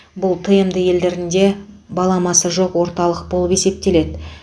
бұл тмд елдерінде баламасы жоқ орталық болып есептеледі